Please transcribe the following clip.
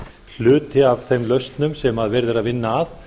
hluti af þeim lausnum sem verið er að vinna að